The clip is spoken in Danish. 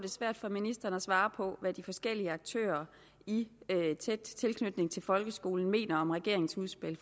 svært for ministeren at svare på hvad de forskellige aktører i tæt tilknytning til folkeskolen mener om regeringens udspil